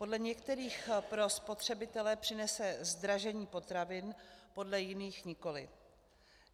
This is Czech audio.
Podle některých pro spotřebitele přinese zdražení potravin, podle jiných nikoliv.